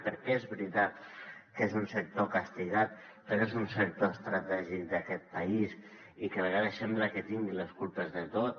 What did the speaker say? perquè és veritat que és un sector castigat però és un sector estratègic d’aquest país i que a vegades sembla que tingui les culpes de tot